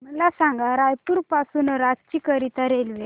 मला सांगा रायपुर पासून रांची करीता रेल्वे